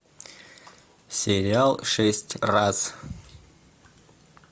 сериал шесть раз